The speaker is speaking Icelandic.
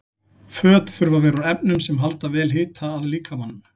Föt þurfa að vera úr efnum sem halda vel hita að líkamanum.